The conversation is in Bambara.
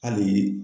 Hali